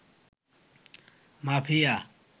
mafia